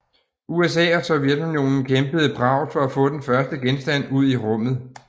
USA og Sovjetunionen kæmpede bravt for at få den første genstand ud i rummet